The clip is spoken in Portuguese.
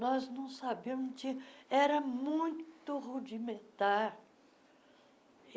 Nós não sabíamos de, era muito rudimentar.